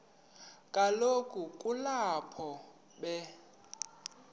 kaloku kulapho be